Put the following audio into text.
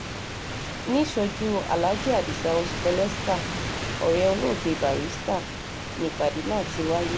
níṣojú aláàjì adisa osipeleska ọ̀rẹ́ olóògbé barrister ni ìpàdé náà ti wáyé